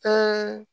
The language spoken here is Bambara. Ka